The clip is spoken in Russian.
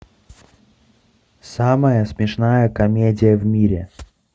самая смешная комедия в мире